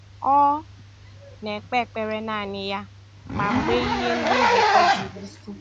Ọ na-ekpe ekpere naanị ya, ma mgbe ihe ndị nzukọ juru isi